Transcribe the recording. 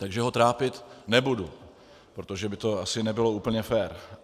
Takže ho trápit nebudu, protože by to asi nebylo úplně fér.